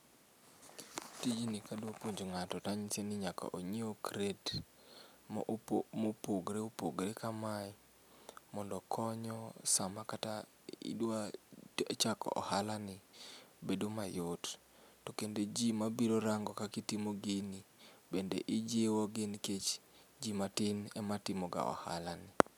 Tijni kadwa puonjo ngato tanyise ni nyaka onyiew crate ma opogore opogore ka mae mondo konyo sama kata idwa chako ohala ni bedo mayot to kendo jii mabiro rango kaka itimo gini bende ijiwo gi nikech jii matin ema timoga ohala ni